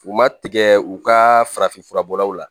U ma tigɛ u ka farafin furabɔlaw la